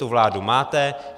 Tu vládu máte.